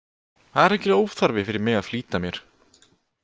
Það er algjör óþarfi fyrir mig að flýta mér.